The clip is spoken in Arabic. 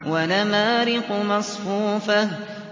وَنَمَارِقُ مَصْفُوفَةٌ